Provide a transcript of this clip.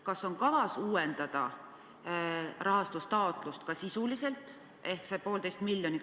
Kas on kavas uuendada rahastustaotlust selle 1,5 miljoni saamiseks?